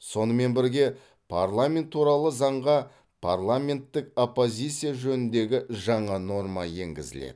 сонымен бірге парламент туралы заңға парламенттік оппозиция жөніндегі жаңа норма енгізіледі